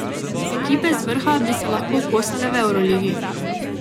Ekipe z vrha bi se lahko kosale v evroligi.